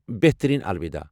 بہترین ،الوِدا ۔